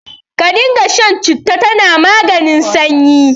Ka dinga shan citta, tana maganin sanyi.